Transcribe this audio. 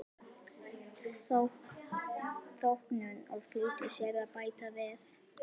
þóknun og flýtti sér að bæta við